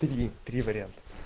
три три вариант